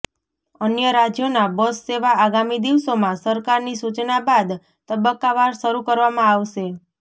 અન્ય રાજ્યોમાં બસ સેવા આગામી દિવસોમાં સરકારની સૂચના બાદ તબક્કા વાર શરૂ કરવામાં આવશે